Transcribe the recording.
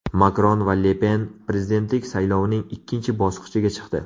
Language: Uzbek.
Makron va Le Pen prezidentlik saylovining ikkinchi bosqichiga chiqdi.